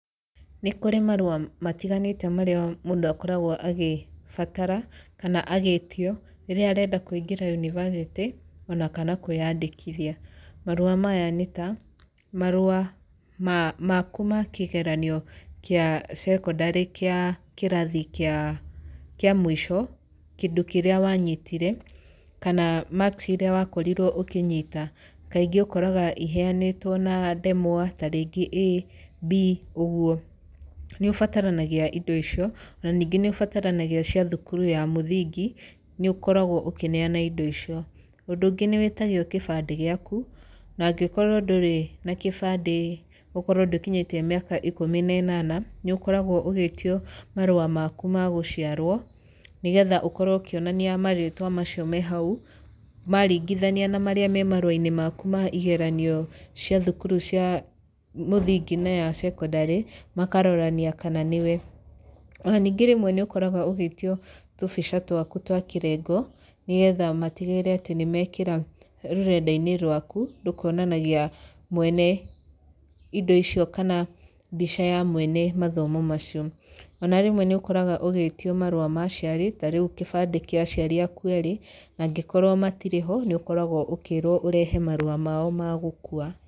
Nĩ kũrĩ marũa matiganĩte marĩa mũndũ akoragwo agĩbatara, kana agĩtio, rĩrĩa arenda kũingĩra yunibacĩtĩ, ona kana kwĩyandĩkithia. Marũa maya nĩ ta, marũa maku ma kĩgeranio kĩa cekondarĩ kĩa kĩrathi kĩa kĩa mũico, kĩndũ kĩra wanyitire, kana marks irĩa wakorirwo ũkĩnyita. Kaingĩ ũkoraga iheanĩtwo na ndemwa, tarĩngĩ A, B, ũguo. Nĩ ũbataranigia indo icio. Na ningĩ nĩ ũbataranagia cia thukuru ya mũthingi, nĩ ũkoragwo ũkĩneana indo icio. Ũndũ ũngĩ nĩ wĩtagio kĩbandĩ gĩaku, na angĩkorwo ndũrĩ na kĩbandĩ ũkorwo ndũkinyĩtie mĩakaikũmi na ĩnana, nĩ ũkoragwo ũgĩtio marũa maku ma gũciarwo, nĩgetha ũkorwo ũkĩonania marĩĩtwa macio me hau maringithania na marĩa me marũa-inĩ maku ma igeranio cia thukuru cia mũthingi na ya cekondarĩ, makarorania kana nĩwe. Ona ningĩ rĩmwe nĩ ũkoraga ũgĩtio tũmbica twaku twa kĩrengo, nĩgetha matigĩrĩre atĩ nĩ mekĩra rũrenda-inĩ rwaku, rũkonanagia mwene indo icio kana mbica ya mwene mathomo macio. Ona rĩmwe nĩ ũkoraga ũgĩtio marũa ma aciari, ta rĩu kĩbandĩ kĩa aciari aaku eerĩ, na angĩkorwo matirĩ ho , nĩ ũkoragwo ũkĩrwo ũrehe marũa mao ma gũkua.